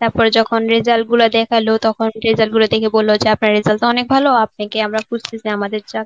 তারপরে যখন result গুলা দেখালো তখন result গুলো দেখে বলল যে আপনার result টা অনেক ভালো. আপনাকে আমরা বুঝতেছি. আমাদের যা